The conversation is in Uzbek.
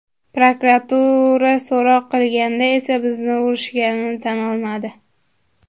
Prokuratura so‘roq qilganda esa bizni urishganini tan olmadi.